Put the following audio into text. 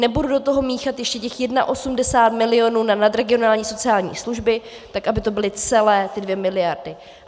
Nebudu do toho míchat ještě těch 81 milionů na nadregionální sociální služby, tak aby to byly celé ty 2 miliardy.